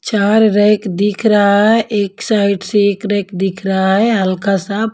चार रैक दिख रहा है एक साइड से एक रैक दिख रहा है हल्का सा --